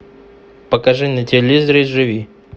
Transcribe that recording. покажи на телевизоре живи